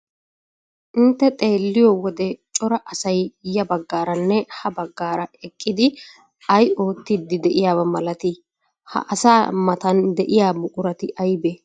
Intte xeelliyo wode cora asay ya baggaaranne ha baggaara eqqidi ay oottiiddi de'iyaba milatii? Ha asaa matan de'iya buqurati aybee?